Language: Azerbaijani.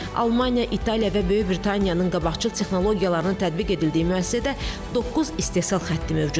Almaniya, İtaliya və Böyük Britaniyanın qabaqcıl texnologiyalarını tətbiq edildiyi müəssisədə doqquz istehsal xətti mövcuddur.